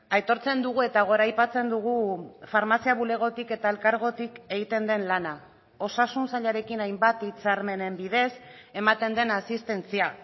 aitortzen dugu eta goraipatzen dugu farmazia bulegotik eta elkargotik egiten den lana osasun sailarekin hainbat hitzarmenen bidez ematen den asistentzia